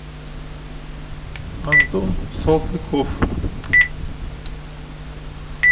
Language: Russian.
антон салтыков